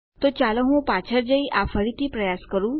તો ચાલો હું પાછળ જઈ આ ફરીથી પ્રયાસ કરું